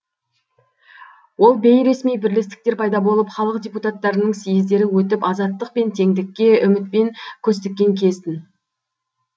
ол бейресми бірлестіктер пайда болып халық депутаттарының съездері өтіп азаттық пен теңдікке үмітпен көз тіккен кез тін